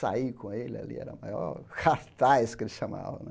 Sair com ele ali era o maior cartaz, que ele chamava.